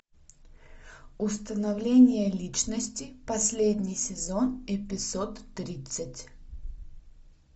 установление личности последний сезон эпизод тридцать